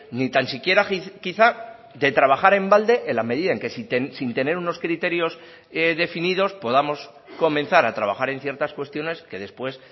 ni tan siquiera quizá de trabajar en balde en la medida en que sin tener unos criterios definidos podamos comenzar a trabajar en ciertas cuestiones que después